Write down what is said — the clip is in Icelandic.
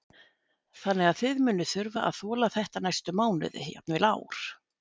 Þannig að þið munið þurfa að þola þetta næstu mánuði, jafnvel ár?